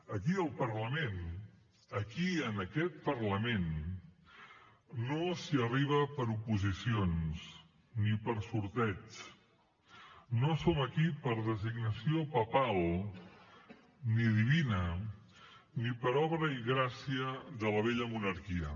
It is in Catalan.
aquí al parlament aquí en aquest parlament no s’hi arriba per oposicions ni per sorteig no som aquí per designació papal ni divina ni per obra i gràcia de la vella monarquia